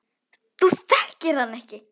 Þú þekkir hann ekki.